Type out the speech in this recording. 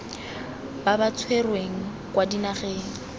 ba ba tshwerweng kwa dinageng